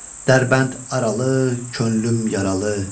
Dərbənd aralı, könlüm yaralı.